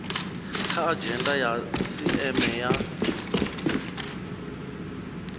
kha adzhenda ya sisieme ya